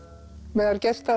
meðal gesta